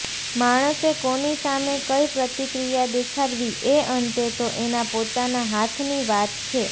માણસે કોની સામે કઈ પ્રતિક્રિયા દેખાડવી એ અંતે તો એના પોતાના હાથની વાત છે